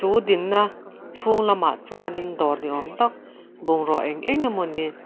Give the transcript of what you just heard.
chu dinna chhung lamah chuanin dawr ni awm tak bungrua eng enge mawni.